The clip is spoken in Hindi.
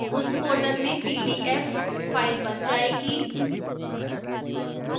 उस folder में pdf file बन जाएगी